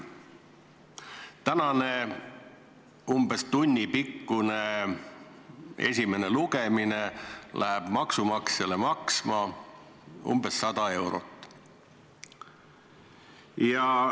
Tänane umbes tunnipikkune esimene lugemine läheb maksumaksjale maksma umbes 100 eurot.